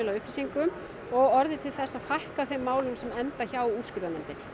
að upplýsingum og orðið til þess að fækka málum sem enda hjá úrskurðarnefndinni